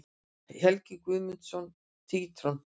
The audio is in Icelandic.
Helgi Guðmundsson, Tintron.